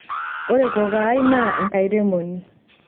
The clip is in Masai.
ore kokoo ai naa enkairemoni